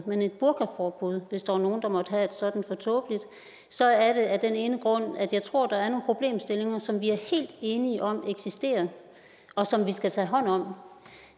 men et burkaforbud hvis der var nogen der måtte have et sådant så er det af den ene grund at jeg tror der er nogle problemstillinger som vi er helt enige om eksisterer og som vi skal tage hånd om